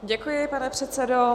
Děkuji, pane předsedo.